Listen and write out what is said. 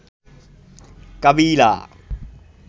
কাবিলা